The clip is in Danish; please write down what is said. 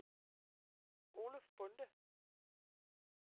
Oluf Bonde